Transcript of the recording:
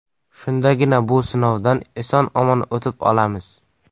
Shundagina bu sinovdan eson-omon o‘tib olamiz.